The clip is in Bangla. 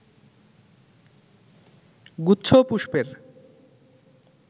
গুচ্ছ পুষ্পের